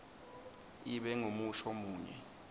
ibe ngumusho munye